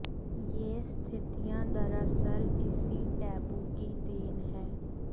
ये स्थितियां दरअसल इसी टैबू की देन है